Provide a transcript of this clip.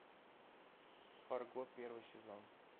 фарго первый сезон